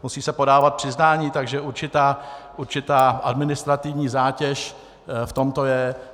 Musí se podávat přiznání, takže určitá administrativní zátěž v tomto je.